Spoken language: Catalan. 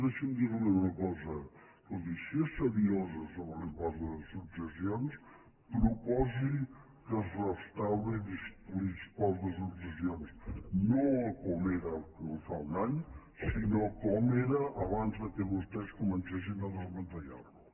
deixi’m dir li una cosa escolti si és seriosa sobre l’impost de successions proposi que es restauri l’impost de successions no com era fa un any sinó com era abans que vostès comencessin a desmantellar lo